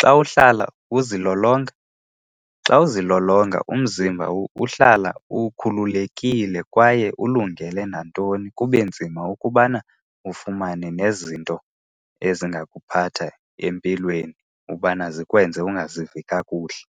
Xa uhlala uzilolonga, xa uzilolonga umzimba uhlala ukhululekile kwaye ulungele nantoni, kube nzima ukubana ufumane nezinto ezingakuphatha empilweni ubana zikwenze ungazivi kakuhle.